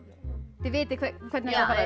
þið vitið hvernig